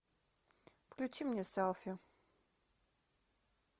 включи мне селфи